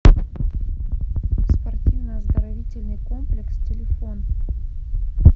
спортивно оздоровительный комплекс телефон